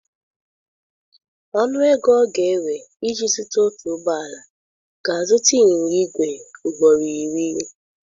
Ọnụ ego ọ ga-ewe iji zuta otu ụgbọ ala ga ịzụta ịnyịnya igwe ugboro iri.